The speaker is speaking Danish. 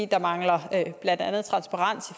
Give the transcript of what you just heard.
der mangler blandt andet transparens